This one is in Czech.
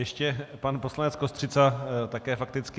Ještě pan poslanec Kostřica také fakticky.